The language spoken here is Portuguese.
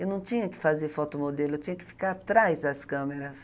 Eu não tinha que fazer foto modelo, eu tinha que ficar atrás das câmeras.